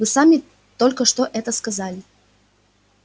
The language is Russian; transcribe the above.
вы сами только что это сказали